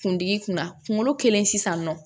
Kundigi kunna kungolo kɛlen sisan nɔ